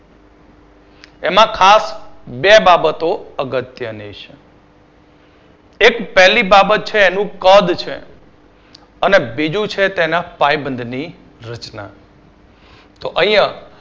એમાં ખાસ બે બાબતો અગત્યની છે એક પહેલી બાબત છે એ તેનું કદ છે. અને બીજું છે તેના રચના તો અહીંયા.